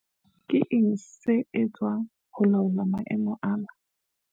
Ke eng se etswang ho laola maemo ana?